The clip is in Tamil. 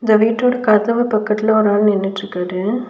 இந்த வீட்டோட கதவு பக்கத்துல ஒரு ஆள் நின்னுட்ருக்காரு.